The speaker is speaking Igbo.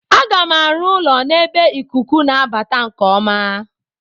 Aga m arụ ụlọ n'ebe ikuku na-abata nke ọma.